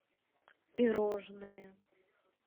пирожные